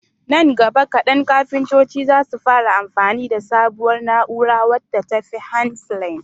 nan gaba kadan kafintoci zasu fara amfani da sabuwar na'ura wadda tafi handplane